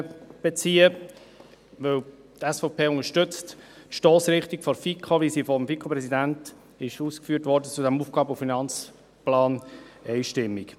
Denn die SVP unterstützt die Stossrichtung, wie sie vom FiKo-Präsidenten ausgeführt wurde, einstimmig.